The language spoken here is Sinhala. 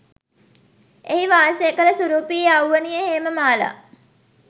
එහි වාසය කළ සුරුපී යෞවනිය හේමමාලා